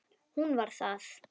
Hún var það.